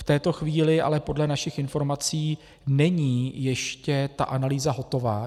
V této chvíli ale podle našich informací není ještě ta analýza hotová.